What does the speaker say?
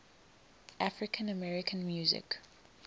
african american music